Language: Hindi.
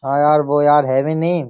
हाँ यार वो यार है भी नहीं।